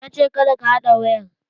Na ce 'Kada ka haɗa wayar'!